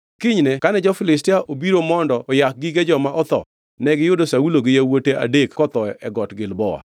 Kinyne kane jo-Filistia obiro mondo oyak gige joma otho, negiyudo Saulo gi yawuote adek kotho e Got Gilboa.